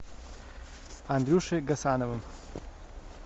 андрюшей гасановым